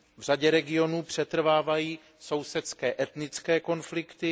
V řadě regionů přetrvávají sousedské, etnické konflikty.